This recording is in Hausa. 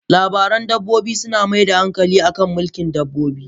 Labaran dabbobi, suna mai da hankali akan mulkin dabbobi.